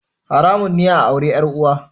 Haramun ne a auri 'yar uwa